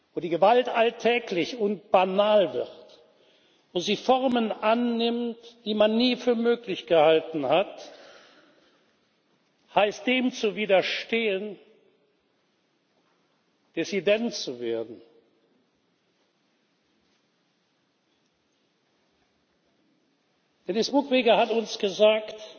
wo die Gewalt alltäglich und banal wird, wo sie Formen annimmt, die man nie für möglich gehalten hat, heißt dem zu widerstehen, Dissident zu werden. Denis Mukwege hat uns gesagt